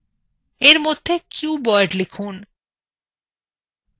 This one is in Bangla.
এর মধ্যে কিউবএড লিখুন